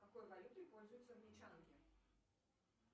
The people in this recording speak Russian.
какой валютой пользуются англичанки